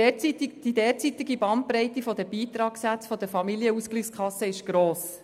Die derzeitige Bandbreite der Beitragssätze der Familienausgleichskassen ist gross.